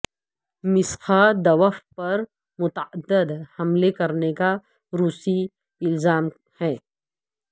Maskhadov پر متعدد حملے کرنے کا روسی الزام ہے